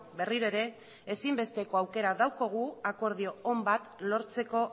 berriro ere ezinbesteko aukera daukagu akordio on bat lortzeko